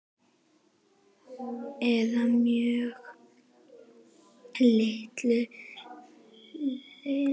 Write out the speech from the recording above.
Eða að mjög litlu leyti.